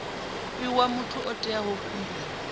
fhiwa muthu o itaho khumbelo